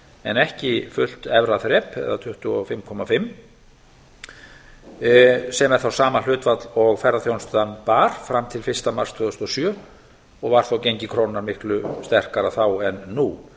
en ekki fullt efra þrep eða tvö hundruð fimmtíu og fimm prósent sem er þá sama hlutfall og ferðaþjónustan bar fram til fyrsta mars tvö þúsund og sjö og var þó gengi krónunnar miklu sterkara þá en nú